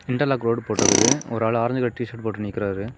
Interlock road போட்டுருக்குது ஒரு ஆளு ஆரஞ்சு கலர் டி_ஷர்ட் போட்டு நிக்குறாரு.